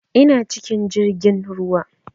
Ina cikin jirgin ruwa